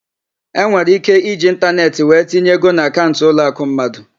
Enwere íké iji ịntaneetị wee tinye ego na akaụnt ụlọakụ mmadụ.